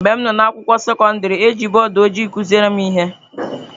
Mgbe m nọ n’ụlọ akwụkwọ sekọndrị, e ji bọọdụ ojii kụziere m ihe.